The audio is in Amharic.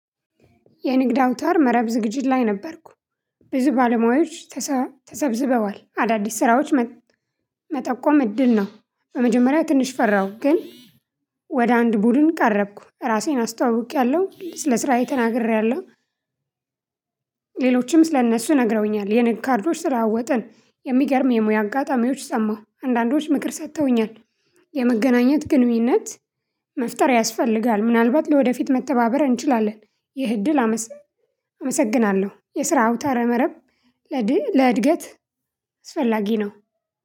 የንግድ አውታር መረብ ዝግጅት ላይ ነበርኩ። ብዙ ባለሙያዎች ተሳተሰብስበዋል አዳዲስ ስራዎች መጥ መጠቆም እድል ነው። በመጀመሪያ ትንሽ ፈራሁ ግን። ወደ አንድ ቡድን ቀረብኩ ራሴን አስተዋውቂያለሁ ስለ ስራዬ ተናግሬያለሁ። ሌሎችም ስለእነሱ ነግረውኛል የንግድ ካርዶች ተለዋወጥን የሚገርም የሙያ አጋጣሚዎች ሰማሁ አንዳንዶች ምክር ሰጥተውኛል። የመገናኘት ግንኙነት መፍጠር ያስፈልጋል ምናልባት ለወደፊት መተባበር እንችላለን። ይህ እድል አመስ አመሰግናለሁ። የስራ አውታረ መረብ ለድህ ለእድገት አስፈላጊ ነው።